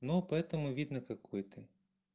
ну поэтому видно какой ты